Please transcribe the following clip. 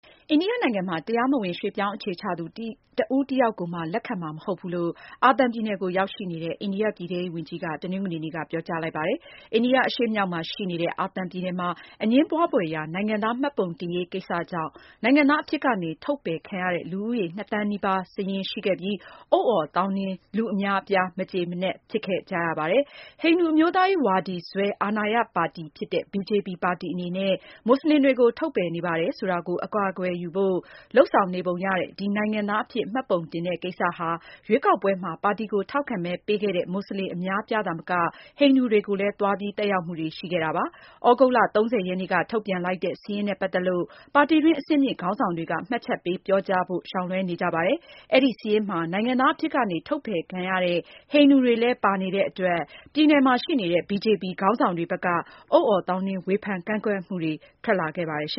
အိန္ဒိယနိုင်ငံမှာ တရားမဝင် ရွှေ့ပြောင်းအခြေချသူ တဦးတယောက်ကိုမှ လက်ခံမှာ မဟုတ်ဘူးလို့ အာသံပြည်နယ်ကို ရောက်ရှိနေတဲ့ အိန္ဒိယပြည်ထဲရေးဝန်ကြီးက တနင်္ဂနွေနေ့မှာ ပြောကြားလိုက်ပါတယ်။ အိန္ဒိယအရှေ့မြောက်မှာရှိနေတဲ့ အာသံပြည်နယ်မှာ အငြင်းပွားဖွယ်ရာ နိုင်ငံသားမှတ်ပုံတင်ရေး ကိစ္စြကောင့် နိုင်ငံသားအဖြစ်ကနေ ထုတ်ပယ်ခံရတဲ့ လူဦးရေ နှစ်သန်းနီးပါး စာရင်းရှိခဲ့ပြီး အုတ်အော်သောင်းနင်းနဲ့ လူအများအပြား မကျေမနပ် ဖြစ်ခဲ့ကြတာပါ။ ဟိန္ဒူ အမျိုးသားရေးဝါဒီစွဲ အာဏာရပါတီဖြစ်တဲ့ Bharatiya Janata ပါတီအနေနဲ့ မွတ်စလင်တွေကို ထုတ်ပယ်နေပါတယ်ဆိုတာကို အကာအကွယ်ယူဖို့ လုပ်ဆောင်နေပုံရတဲ့ ဒီ နိုင်ငံသားအဖြစ် မှတ်ပုံတင်ကိစ္စဟာ ရွေးကောက်ပွဲမှာ ပါတီကို ထောက်ခံမဲပေးခဲ့တဲ့ မွတ်စလင်အများအပြားသာမက ဟိန္ဒူတွေကိုလည်း သွားပြီး သက်ရောက်မှုတွေ ရှိခဲ့တာပါ။ သြဂုတ်လ ၃၀ ရက်နေ့က ထုတ်ပြန်လိုက်တဲ့ စာရင်းနဲ့ ပတ်သက်လို့ ပါတီတွင်း အဆင့်မြင့်ခေါင်းဆောင်တွေက မှတ်ချက်ပေး ပြောကြားဖို့ ရှောင်လွဲှနေကြပါတယ်။ အဲဒီစာရင်းမှာ နိုင်ငံသားအဖြစ်ကနေ ထုတ်ပယ်ခံရတဲ့ ဟိန္ဒူတွေလည်း ပါနေတဲ့အတွက် ပြည်နယ်မှာရှိနေတဲ့ BJP ခေါင်းဆောင်တွေဘက်က အုတ်အော်သောင်းနင်း ဝေဖန်ကန့်ကွက်မှုတွေ ထွက်လာခဲ့ပါတယ်။ အရှ